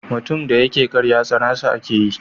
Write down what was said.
Mutum da yake ƙarya tsanar sa ake yi.